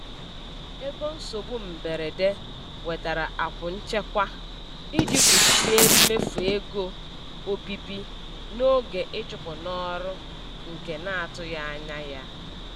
Ego nsogbu mberede wetara akwụ nchekwa iji kpuchie mmefu ego obibi n'oge ịchụpụ n'ọrụ nke na-atụghị anya ya.